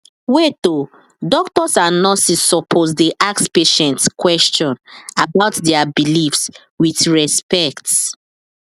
wait odoctors and nurses supposed dey ask patient question about their beliefs with respect